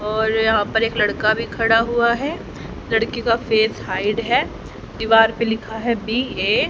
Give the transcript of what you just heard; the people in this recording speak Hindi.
और यहां पर एक लड़का भी खड़ा हुआ हैं लड़की का फेस हाइड हैं दीवार पे लिखा है बी ए ।